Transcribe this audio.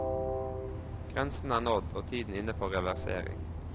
Grensen er nådd og tiden inne for reversering.